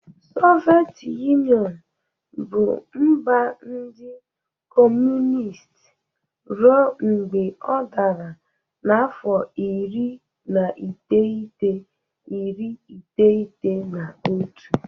Soviet Yunịọnụ bụ mba ndị Kọmunist ruo mgbe ọ dara n'afọ iri na iteghete, iri iteghete na otu.